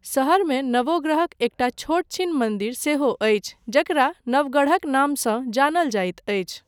शहरमे नवो ग्रहक एकटा छोटा छीन मन्दिर सेहो अछि जकरा नवगढ़क नामसँ जानल जाइत अछि।